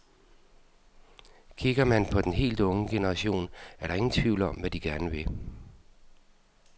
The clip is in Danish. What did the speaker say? Kigger man på den helt unge generation, er der ingen tvivl om, hvad de gerne vil.